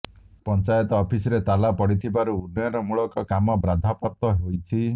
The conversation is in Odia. ପଞ୍ଚାୟତ ଅଫିସରେ ତାଲା ପଡିଥିବାରୁ ଉନ୍ନୟନମୂଳକ କାମ ବାଧାପ୍ରାପ୍ତ ହୋଇଛି